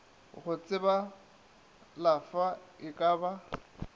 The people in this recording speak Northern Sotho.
go tsebalafwa e ka ba